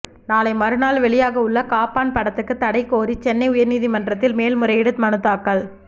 நாளை மறுநாள் வெளியாக உள்ள காப்பான் படத்துக்கு தடை கோரி சென்னை உயர்நீதிமன்றத்தில் மேல்முறையீடு மனு தாக்கல்